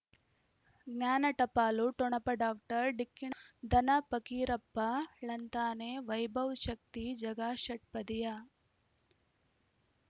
ಜ್ಞಾನ ಟಪಾಲು ಠೊಣಪ ಡಾಕ್ಟರ್ ಢಿಕ್ಕಿ ಣ ಧನ ಫಕೀರಪ್ಪ ಳಂತಾನೆ ವೈಭವ್ ಶಕ್ತಿ ಝಗಾ ಷಟ್ಪದಿಯ